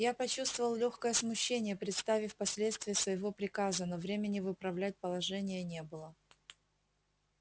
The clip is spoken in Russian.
я почувствовал лёгкое смущение представив последствия своего приказа но времени выправлять положение не было